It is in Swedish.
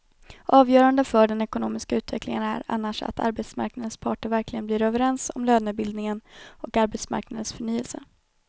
Avgörande för den ekonomiska utvecklingen är annars att arbetsmarknadens parter verkligen blir överens om lönebildningen och arbetsmarknadens förnyelse.